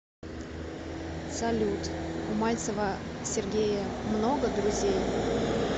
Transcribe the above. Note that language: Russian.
салют у мальцева сергея много друзей